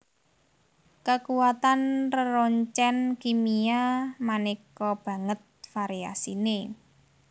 Kakuwatan reroncèn kimia manéka banget variasiné